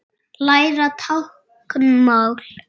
Læra táknmál